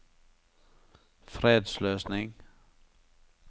fredsløsning